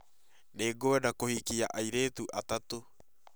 Nĩngwenda kũhikia airĩtu atatũ